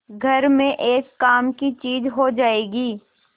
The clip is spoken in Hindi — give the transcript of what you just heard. घर में एक काम की चीज हो जाएगी